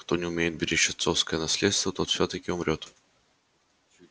кто не умеет беречь отцовское наследство тот всё-таки умрёт